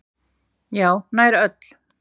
Já, nær öll.